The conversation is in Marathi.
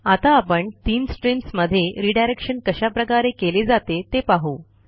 आता आपण तीन streamsमध्ये रिडायरेक्शन कशाप्रकारे केले जाते ते पाहू